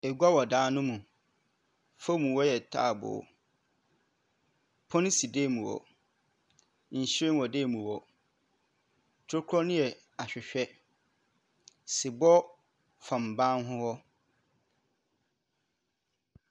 Egua wɔ dan no mu, famu hɔ yɛ taabow. Pon si dan mu hɔ, nhyiren wɔ dan mu hɔ, tokura no yɛ ahwehwɛ, sebɔ fam ban ho wɔ.